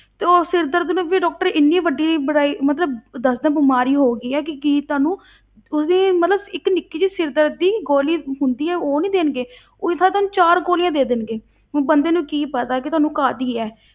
ਤੇ ਉਹ ਸਿਰ ਦਰਦ ਨੂੰ ਵੀ doctor ਇੰਨੀ ਵੱਡੀ ਬੜਾਈ ਮਤਲਬ ਦੱਸਦੇ ਆ ਬਿਮਾਰੀ ਹੋ ਗਈ ਆ ਕਿ ਕੀ ਤੁਹਾਨੂੰ ਉਹ ਵੀ ਮਤਲਬ ਇੱਕ ਨਿੱਕੀ ਜਿਹੀ ਸਿਰ ਦਰਦ ਦੀ ਗੋਲੀ ਹੁੰਦੀ ਆ, ਉਹ ਨੀ ਦੇਣਗੇ ਉਹਦੀ ਥਾਂ ਤੇ ਨਾ ਚਾਰ ਗੋਲੀਆਂ ਦੇ ਦੇਣਗੇ, ਹੁਣ ਬੰਦੇ ਨੂੰ ਕੀ ਪਤਾ ਕਿ ਤੁਹਾਨੂੰ ਕਾਹਦੀ ਹੈ।